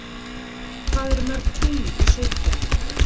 Hvað eru mörg tungl í sólkerfinu?